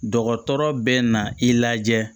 Dɔgɔtɔrɔ bɛ na i lajɛ